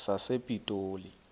sasepitoli